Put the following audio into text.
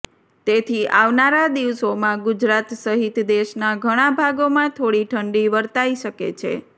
તેથી આવનારા દિવસોમાં ગુજરાત સહિત દેશના ઘણા ભાગોમાં થોડી ઠંડી વર્તાઇ શકે છે